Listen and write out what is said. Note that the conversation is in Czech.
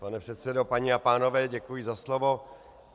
Pane předsedo, paní a pánové, děkuji za slovo.